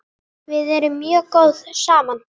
Við erum mjög góð saman.